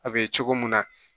A be cogo mun na